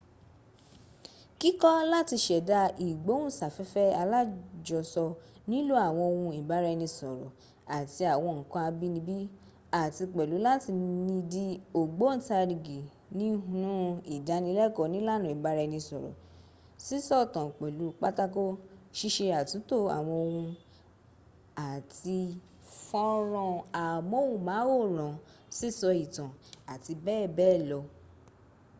kíkọ́ láti ṣẹ̀da ìgbóhùnsáfẹ́fẹ́ alájọsọ nílò́ àwọn ohun ìbára-ẹni-sọ̀rọ̀ àti àwọn nǹkan abínibí àti pẹ̀lú láti ni di ògbóntarìgì nihnú ìdánilẹ́kọ̀ọ́ onílànà ìbara-ẹni sọ̀rọ̀ sísọ̀tàn-pẹ̀lú-pátákò ṣíṣe àtúntò àwọn ohùn àti ffọ́nrán amóhùnmáwòrán sísọ ìtàn abbl.